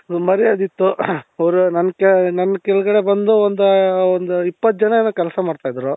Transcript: ಒಂದು ಮರ್ಯಾದೆ ಇತ್ತು.ಅವರು ನನ್ ಕೆಳಗ ನನ್ ಕೆಳಗಡೆ ಬಂದು ಒಂದು ಒಂದು ಇಪ್ಪತ್ತು ಜನ ಏನೋ ಕೆಲ್ಸ ಮಾಡ್ತಾ ಇದ್ರು.